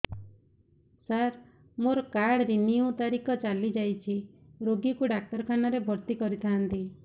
ସାର ମୋର card renew ତାରିଖ ଚାଲି ଯାଇଛି ରୋଗୀକୁ ଡାକ୍ତରଖାନା ରେ ଭର୍ତି କରିଥାନ୍ତି